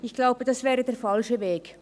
– Ich glaube, das wäre der falsche Weg.